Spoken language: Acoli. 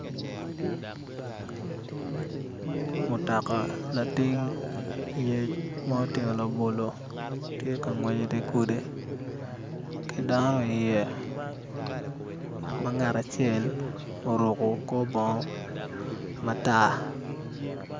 Mutoka lating yec ma otingo labolo tye ka ngwec i di gudi ki dano iye ma ngat acel oruko kor bongo matar